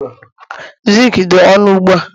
zinc dị ọnụ ugbu a